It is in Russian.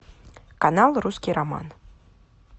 канал русский роман